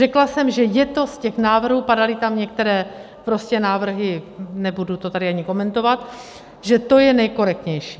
Řekla jsem, že je to, z těch návrhů, padaly tam některé prostě návrhy, nebudu to tady ani komentovat, že to je nejkorektnější.